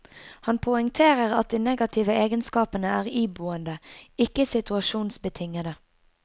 Han poengterer at de negative egenskapene er iboende, ikke situasjonsbetingede.